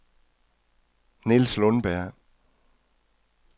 Niels Lundberg